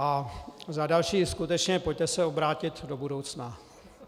A za další, skutečně, pojďte se obrátit do budoucna.